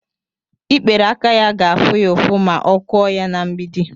ikperé aka ya ga-afụ ya ụfụ ma ọ kụọ ya na mgbidi